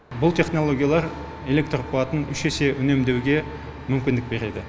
бұл технологиялар электр қуатын үш есе үнемдеуге мүмкіндік береді